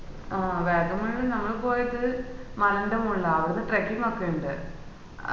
ആഹ് വാഗമണ് ഞങ്ങള് പോയപ്പോള് മലന്റെ മോളിലാ അവട trecking ഒക്കെ ഇണ്ട്